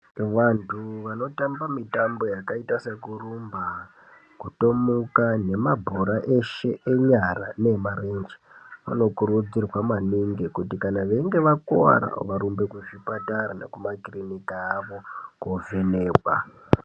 Vantu vanotamba mitambo yakaita sekurumba kutomuka nemabhora eshee enyara neemarenje vanokurudzirwa maningi kuti kana veinge vakuwara varumbe kuzvipatara nekumakirinika awo kovhenekwa.